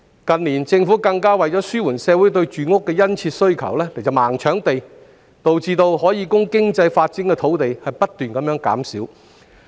近年，政府為了紓緩社會對住屋的殷切需求，更是"盲搶地"，導致可供經濟發展的土地不斷減少。